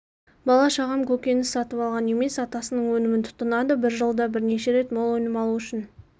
бала-шағам көкөніс сатып алған емес атасының өнімін тұтынады бір жылда бірнеше рет мол өнім алу үшін